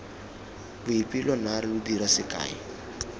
boipelo naare lo dira sekae